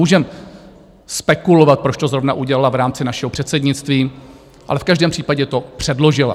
Můžeme spekulovat, proč to zrovna udělala v rámci našeho předsednictví, ale v každém případě to předložila.